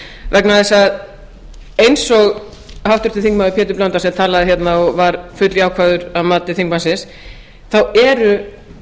vegna þess eins og háttvirtur þingmaður pétur blöndal sem talaði hérna og var fulljákvæður að mati þingmannsins þá eru